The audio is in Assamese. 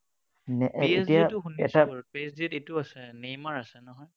পি এছ জি টো শুনিছো বাৰু। পি এছ জিত এইটো আছে, নেইমাৰ আছে নহয়?